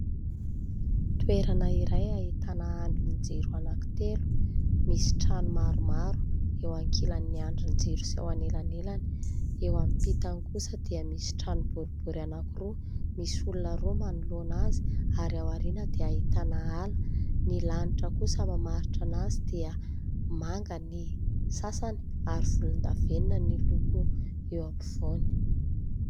Toerana iray ahitana andrin-jiro anankitelo, misy trano maromaro eo ankilan'ny andrin-jiro sy eo anelanelany. Eo ampitany kosa dia misy trano boribory anankiroa, misy olona roa manoloana azy ary aoriana dia ahitana ala. Ny lanitra kosa mamaritra anazy dia manga ny sasany ary volondavenona ny loko eo ampovoany.